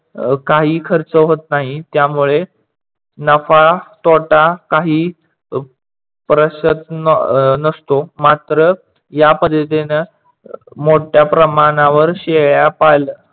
काही खर्च होत नाही, त्यामुळे नफा तोटा काहीच प्रसन्त नसतो. मात्र या पद्धतीने मोठ्या प्रमाणावर शेळ्या पालन